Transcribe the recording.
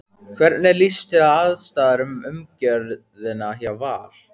Hvernig líst þér á aðstæður og umgjörðina hjá Val?